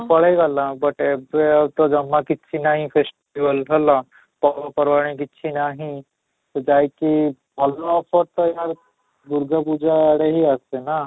ପଳେଇ ଗଲ but ଏବେ ଆଉ ତ ଜମା କିଛି ନାହିଁ festival ହେଲା ପର୍ବ ପର୍ବାଣୀ କିଛି ନାହିଁ, ତ ଯାଇକି ଭଲ offer ଏହାର ଦୁର୍ଗା ପୂଜା ଆଡେ ହିଁ ଆସେ ନା?